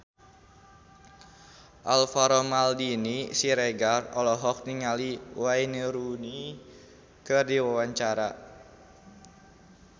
Alvaro Maldini Siregar olohok ningali Wayne Rooney keur diwawancara